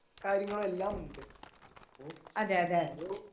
കാര്യങ്ങളും എല്ലാമുണ്ട് ഇപ്പൊ ഓരോ.